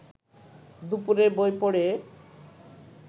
দুপুরে বই পড়ে